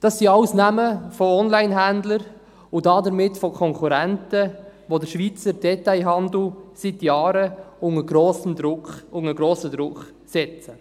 Dies sind alles Namen von Onlinehändlern und damit von Konkurrenten, die den Schweizer Detailhandel seit Jahren unter grossen Druck setzen.